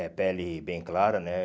É, pele bem clara, né?